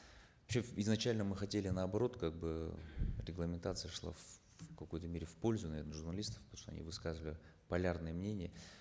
изначально мы хотели наоборот как бы регламентация шла какой то мере в пользу наверно журналистов потому что они высказывали полярные мнения